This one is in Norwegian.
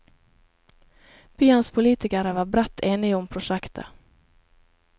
Byens politikere var bredt enige om prosjektet.